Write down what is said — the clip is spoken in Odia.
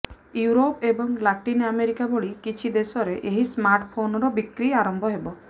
ୟୁରୋପ୍ ଏବଂ ଲାଟିନ୍ ଆମେରିକା ଭଳି କିଛି ଦେଶରେ ଏହି ସ୍ମାର୍ଟଫୋନର ବିକ୍ରି ଆରମ୍ଭ ହେବ